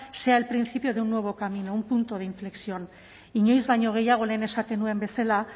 sea el principio de un nuevo camino un punto de inflexión inoiz baino gehiago lehen esaten nuen bezala